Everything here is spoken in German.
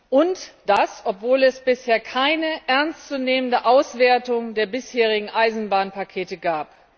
Und das, obwohl es bisher keine ernstzunehmende Auswertung der bisherigen Eisenbahnpakete gab.